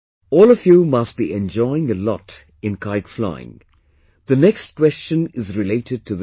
All of you must be enjoying a lot in kite flying; the next question is related to this